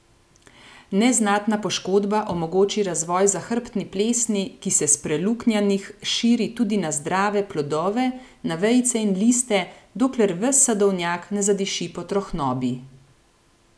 Neznatna poškodba omogoči razvoj zahrbtni plesni, ki se s preluknjanih širi tudi na zdrave plodove, na vejice in liste, dokler ves sadovnjak ne zadiši po trohnobi.